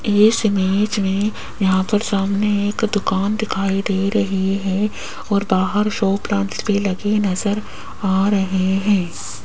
Yes image में यहां पर सामने एक दुकान दिखाई दे रही है और बाहर शो प्लांट्स भी लगे नजर आ रहे हैं।